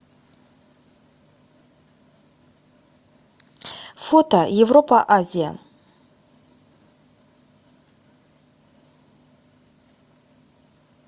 фото европа азия